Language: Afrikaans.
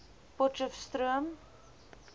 potcheftsroom